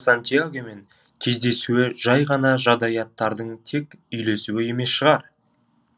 сантьягомен кездесуі жай ғана жағдаяттардың тек үйлесуі емес шығар